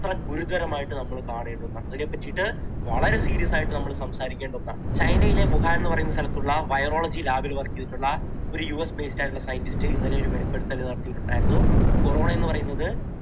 അത്ര ഗുരുതരമായിട്ട് നമ്മൾ കാണേണ്ട ഒന്നാണ്. അതിനെ പറ്റിയിട്ട് വളരെ serious ആയിട്ട് നമ്മൾ സംസാരിക്കേണ്ട ഒന്നാണ്. ചൈനയിലെ വുഹാൻ എന്നു പറഞ്ഞ സ്ഥലത്തുള്ള virologylab ൽ work ചെയ്തിട്ടുള്ള ഒരു യു എസ് based ആയിട്ടുള്ള scientist ഇന്നലെ ഒരു വെളിപ്പെടുത്തൽ നടത്തിയിട്ടുണ്ടായിരുന്നു. corona എന്നു പറയുന്നത്